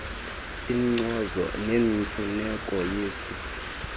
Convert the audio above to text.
inkcazo ngemfuneko yesi